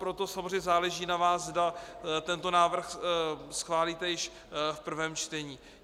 Proto samozřejmě záleží na vás, zda tento návrh schválíte již v prvém čtení.